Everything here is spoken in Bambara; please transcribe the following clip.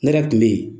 Ne yɛrɛ kun bɛ yen